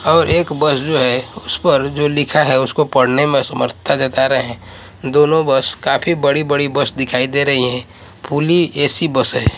और एक बस जो है उस पर जो लिखा है उसको पढ़ने में असमर्थता जता रहे है। दोनों बस काफी बड़ी-बड़ी बस दिखाई दे रही है। फूली ए_सी बस है।